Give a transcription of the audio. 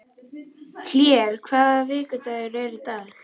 Hlér, hvaða vikudagur er í dag?